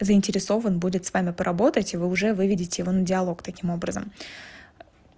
заинтересован будет с вами поработать и вы уже выведите его на диалог таким образом